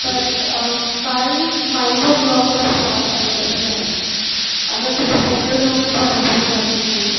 ਪਰ ਅਹ ਕੱਲ five o clock ਤੱਕ slot available ਹੈ ਅਗਰ ਤੁਸੀਂ ਕਹਿੰਦੇ ਹੋ ਤਾਂ ਉਹ ਮੈਂ ਤੁਹਾਡਾ ਬੁੱਕ ਕਰ ਦਿੰਨੀ ਆ